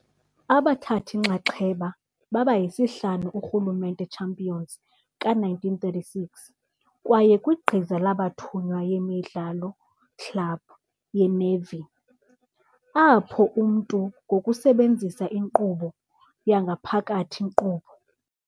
Abathathi-nxaxheba baba isihlanu urhulumente champions ka-1936 kwaye kwigqiza labathunywa ye-emidlalo club ye-nevi, apho umntu ngokusebenzisa inkqubo yangaphakathi nkqubo.